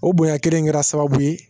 O bonya kelen in kɛra sababu ye